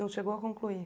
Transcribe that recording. Não chegou a concluir?